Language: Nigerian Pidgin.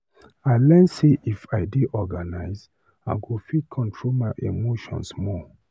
I learn sey if i dey organize I go fit control my emotions more.